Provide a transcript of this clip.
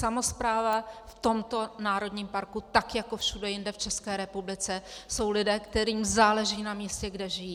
Samospráva v tomto národním parku - tak jako všude jinde v České republice jsou lidé, kterým záleží na místě, kde žijí.